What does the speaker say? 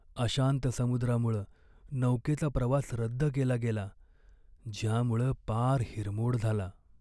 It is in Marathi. अशांत समुद्रामुळं नौकेचा प्रवास रद्द केला गेला, ज्यामुळं पार हिरमोड झाला.